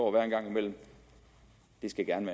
at være en gang imellem skal gerne